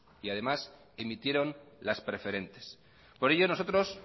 y además emitieron las preferentes por ello nosotros